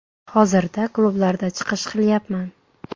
Hozirda klublarda chiqish qilyapman.